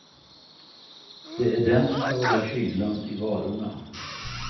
Det är den som ska hålla kylan i varorna.